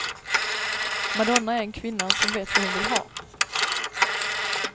Madonna är en kvinna som vet vad hon vill ha.